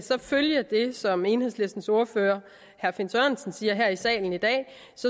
følge det som enhedslistens ordfører herre finn sørensen siger her i salen i dag